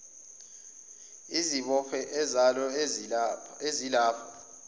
izibopho zalo ezilapha